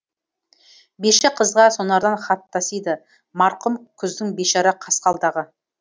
биші қызға сонардан хат тасиды марқұм күздің бейшара қасқалдағы